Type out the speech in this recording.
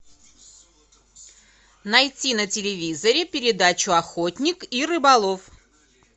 найти на телевизоре передачу охотник и рыболов